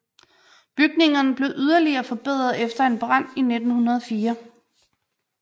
Bygningerne blev yderligere forbedret efter en brand i 1904